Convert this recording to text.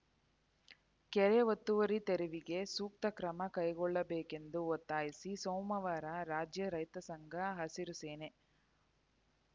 ಕೆರೆ ಒತ್ತುವರಿ ತೆರವಿಗೆ ಸೂಕ್ತ ಕ್ರಮ ಕೈಗೊಳ್ಳಬೇಕೆಂದು ಒತ್ತಾಯಿಸಿ ಸೋಮವಾರ ರಾಜ್ಯ ರೈತ ಸಂಘ ಹಸಿರು ಸೇನೆ